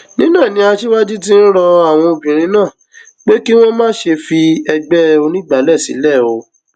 nínú ẹ ni aṣíwájú ti ń rọ àwọn obìnrin náà pé kí wọn má ṣe fi ẹgbẹ onígbàálẹ sílẹ o